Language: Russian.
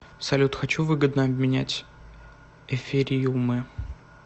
салют хочу выгодно обменять эфириумы